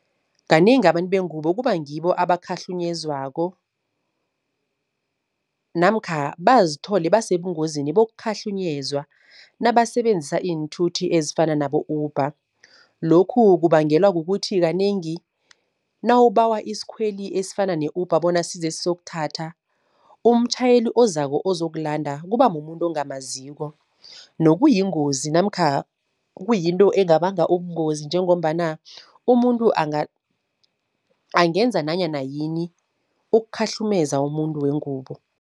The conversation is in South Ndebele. Kanengi abantu bengubo kuba ngibo abakhahlunyezwako namkha bazithole basebungozini bokukhahlunyezwa, nabasebenzisa iinthuthi ezifana nabo-Uber. Lokhu kubangelwa kukuthi kanengi nawubawa isikhweli esifana ne-Uber bona size sizokuthatha, umtjhayeli ozako ozokulanda kuba mumuntu ongamaziko nokuyingozi namkha kuyinto engabanga ubungozi njengombana umuntu angenza nanyana yini ukukhahlumeza umuntu wengubo.